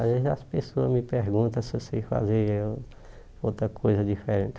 Às vezes as pessoas me perguntam se eu sei fazer outra coisa diferente.